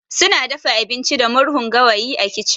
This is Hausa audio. Suna dafa abinci da murhun gawayi a kicin